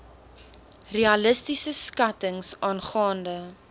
realistiese skattings aangaande